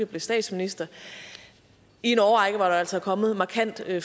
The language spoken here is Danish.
blev statsminister i en årrække hvor der altså er kommet markant